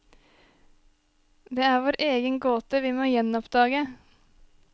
Det er vår egen gåte vi må gjenoppdage.